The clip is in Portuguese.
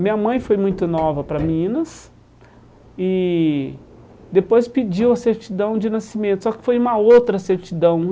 Minha mãe foi muito nova para Minas e depois pediu a certidão de nascimento, só que foi uma outra certidão.